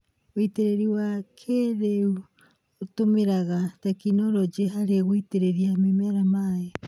Wĩĩtĩrĩria wa kĩĩrĩu ũtũmĩraga tekinoronjĩ harĩ gũitĩrĩria mĩmera maĩ